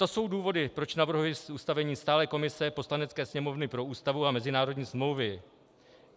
To jsou důvody, proč navrhuji ustavení stálé komise Poslanecké sněmovny pro Ústavu a mezinárodní smlouvy.